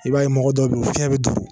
I b'a ye mɔgɔ dɔw be yen u fiɲɛ be duru